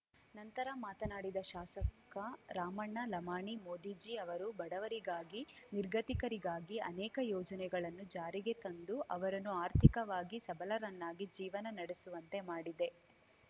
ನಂತರ ಮಾತನಾಡಿದ ಶಾಸಕ ರಾಮಣ್ಣ ಲಮಾಣಿ ಮೋದಿಜಿ ಅವರು ಬಡವರಿಗಾಗಿ ನಿರ್ಗತಿಕರಿಗಾಗಿ ಅನೇಕ ಯೋಜನೆಗಳನ್ನು ಜಾರಿಗೆ ತಂದು ಅವರನ್ನು ಆರ್ಥಿಕವಾಗಿ ಸಬಲರನ್ನಾಗಿ ಜೀವನ ನಡೆಸುವಂತೆ ಮಾಡಿದೆ